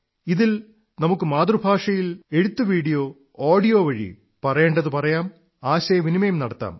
ഇതിൽ നമുക്ക് മാതൃഭാഷയിൽ എഴുത്ത് വീഡിയോ ഓഡിയോ വഴി പറയേണ്ടത് പറയാം ആശയവിനിമയം നടത്താം